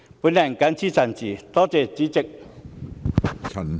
我謹此陳辭，多謝主席。